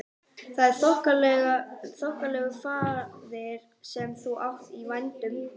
Það er þokkalegur faðir sem þú átt í vændum!